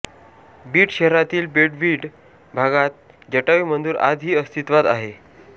बीड शहरातील पेठबीड भागात जटायू मंदिर आज ही अस्तित्वात आहे